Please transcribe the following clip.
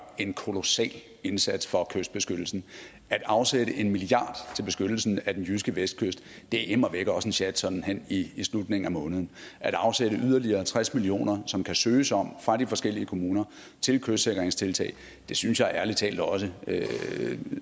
en kolossal indsats for kystbeskyttelsen at afsætte en milliard kroner til beskyttelsen af den jyske vestkyst er immer væk også en sjat sådan hen i slutningen af måneden at afsætte yderligere tres million kr som der kan søges om fra de forskellige kommuner til kystsikringstiltag synes jeg ærlig talt også